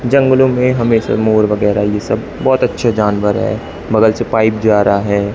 जंगलों में हमेशा मोर वगैरह ये सब बहोत अच्छे जानवर है बगल से पाइप जा रहा है।